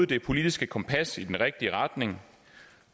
det politiske kompas i den rigtige retning